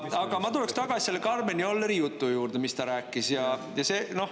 Aga ma tuleksin tagasi Karmen Jolleri jutu juurde.